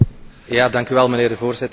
Voorzitter, beste collega's.